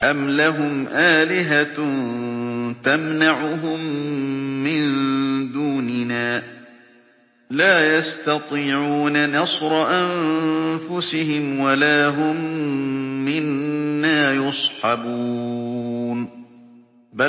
أَمْ لَهُمْ آلِهَةٌ تَمْنَعُهُم مِّن دُونِنَا ۚ لَا يَسْتَطِيعُونَ نَصْرَ أَنفُسِهِمْ وَلَا هُم مِّنَّا يُصْحَبُونَ